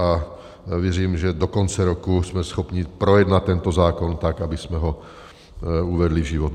A věřím, že do konce roku jsme schopni projednat tento zákon, tak abychom ho uvedli v život.